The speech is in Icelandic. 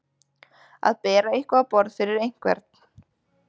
Að bera eitthvað á borð fyrir einhvern